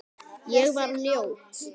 Ég var ljót.